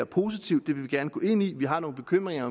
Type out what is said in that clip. positivt det vil vi gerne gå ind i vi har nogle bekymringer